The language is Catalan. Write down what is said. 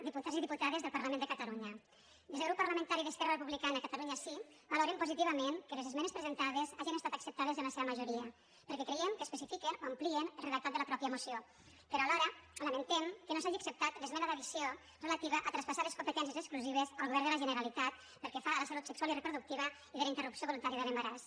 diputats i diputades del parlament de catalunya des del grup parlamentari d’esquerra republicana catalunya sí valorem positivament que les esmenes presentades hagen estat acceptades en la seva majoria perquè creiem que especifiquen o amplien el redactat de la mateixa moció però alhora lamentem que no s’hagi acceptat l’esmena d’addició relativa a traspassar les competències exclusives al govern de la generalitat pel que fa a la salut sexual i reproductiva i la interrupció voluntària de l’embaràs